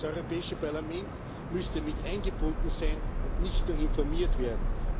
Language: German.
Das Europäische Parlament müsste mit eingebunden sein und nicht nur informiert werden.